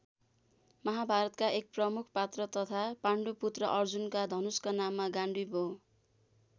महाभारतका एक प्रमुख पात्र तथा पान्डु पु्त्र अर्जुनको धनुषको नाम गाण्डीव हो।